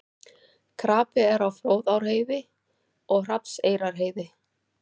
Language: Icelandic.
Krapi er á Fróðárheiði og Hrafnseyrarheiði